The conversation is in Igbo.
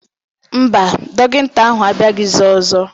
Mba, dọkịta ahụ abịaghịzi ọzọ